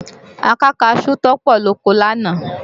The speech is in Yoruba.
A ká kaṣú tó pọ̀ lóko lánàá